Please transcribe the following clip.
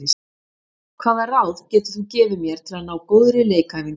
Hvaða ráð getur þú gefið mér til að ná góðri leikæfingu?